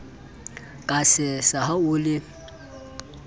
ka sesa ha o le